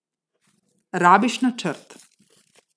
Rabiš načrt.